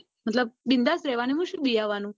બિન્દાસ રેવાનું એમાં શું બીવાનું